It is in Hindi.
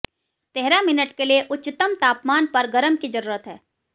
तेरह मिनट के लिए उच्चतम तापमान पर गरम की जरूरत है